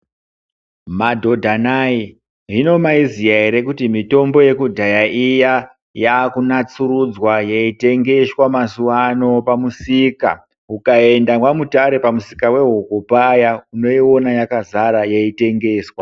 Madhodha nhai hino maiziya ere kuti mitombo yekudhaya iya yakunasurudzwa yeitengeswa mazuwano pamusika ukaenda mwaMutare pamusika wehuku paya unoiona yakazara yeitengeswa.